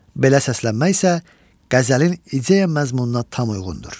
Belə səslənmək isə qəzəlin ideya məzmununa tam uyğundur.